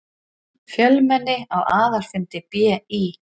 Fjölmenni á aðalfundi BÍ